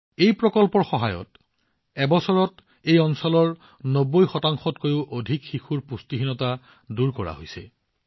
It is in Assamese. এই প্ৰকল্পৰ সহায়ত এবছৰত এই অঞ্চলৰ ৯০ শতাংশতকৈও অধিক শিশুৰ পুষ্টিহীনতা আঁতৰ কৰা হৈছে